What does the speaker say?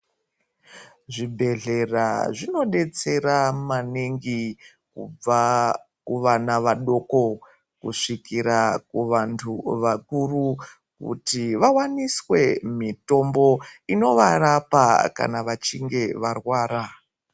Zvibhedhlera zvinodetsera maningi kubva kuvana vadoko kusvikira kuvantu vakuru kuti vawaniswe mitombo inovarapa kana vachinge varwara.